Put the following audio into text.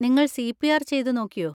നിങ്ങൾ C. P. R. ചെയ്തുനോക്കിയോ?